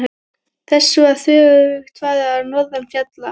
Þessu var þveröfugt farið norðan fjalla.